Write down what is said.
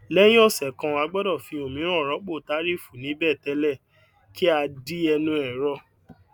léyìn òsè kan a gbódò fi òmíràn rópò tàrífù níbè télè kí a di ẹnu ẹrọ